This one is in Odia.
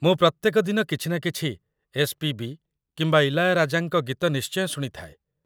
ମୁଁ ପ୍ରତ୍ୟେକ ଦିନ କିଛି ନା କିଛି ଏସ୍.ପି.ବି. କିମ୍ବା ଇଲାୟାରାଜାଙ୍କ ଗୀତ ନିଶ୍ଚୟ ଶୁଣିଥାଏ।